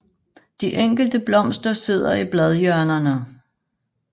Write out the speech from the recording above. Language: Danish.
De enkelte blomster sidder i bladhjørnerne